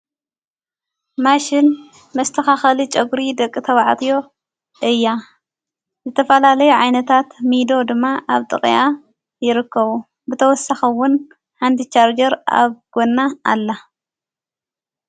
ማሽን መስተኻኸሊ ጨጕሪ ደቂ ተብዐትዮ ያ ዘተፋላለይ ዓይነታት ሚዶ ድማ ኣብ ጥቕያ ይርከቡ ብተወሰኸውን ሓንቲ ሻርጀር ኣብ ጐና ኣላ::